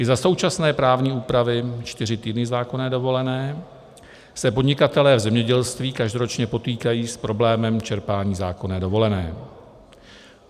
I za současné právní úpravy, čtyři týdny zákonné dovolené, se podnikatelé v zemědělství každoročně potýkají s problémem čerpání zákonné dovolené.